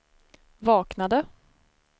vaknade